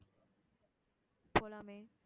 போலாமே